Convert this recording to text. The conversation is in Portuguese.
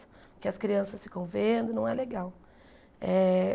Porque as crianças ficam vendo, e não é legal eh.